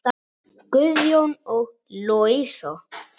Guðjón og Louisa.